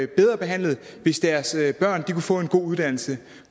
bedre behandlet hvis deres børn kunne få en god uddannelse